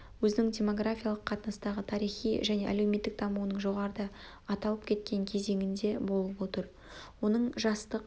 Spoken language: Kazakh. өзінің демографиялық қатынастағы тарихи және әлеуметтік дамуының жоғарыда аталып кеткен кезеңінде болып отыр оның жастық